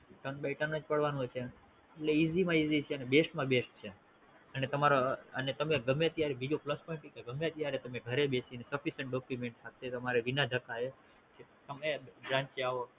તને ભાઈ નતાને જ પાડવાનો છે એટલે Easy માં Easy છે અને best માં best છે અને તમારા અને તમે ગમે ત્યારે બીજો Plus points સુ છે ગમે ત્યારે તને ઘરે બેસીને Submission Document સાથે તમારે વિના ધક્કાએ તમે જ્યાં ત્યાં